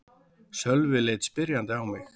Sölvi leit spyrjandi á mig.